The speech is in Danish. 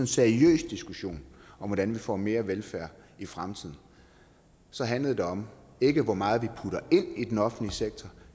seriøs diskussion om hvordan vi får mere velfærd i fremtiden så handlede det om ikke hvor meget vi putter ind i den offentlig sektor